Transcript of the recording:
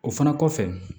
O fana kɔfɛ